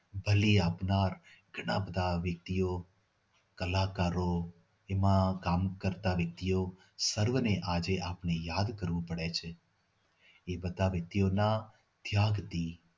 બલી આપનાર ઘણા બધા વ્યક્તિઓ કલાકારો એમાં કામ કરતા વ્યક્તિઓ સર્વને આજે આપણે યાદ કરવું પડે છે એ બધા વ્યક્તિઓના ત્યાગથી